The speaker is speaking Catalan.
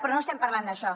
però no estem parlant d’això